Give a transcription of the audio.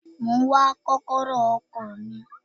Mo ń wá kọ́kọ́rọ́ ọkọ̀ mi.